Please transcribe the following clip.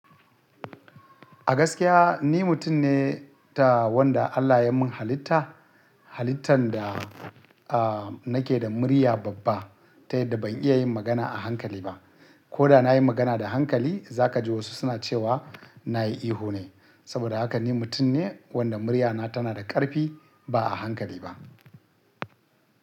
A gaskiya ni mutum ne ta wanda Allah ya mun halitta, halittan da, ah, nake da murya babba, ta yadda ban iya yin magana a hankali ba. Ko da na yi magana da hankali, za ka ji wasu suna cewa na yi ihu ne. Saboda haka ni mutum ne wanda muryana tana da ƙarfi ba a hankali ba.